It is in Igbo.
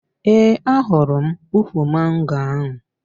Ee, ahụrụ m ukwu mango ahụ